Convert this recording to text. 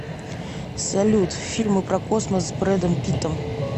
салют фильмы про космос с брэдом питтом